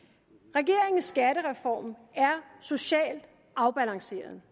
regeringens skattereform er socialt afbalanceret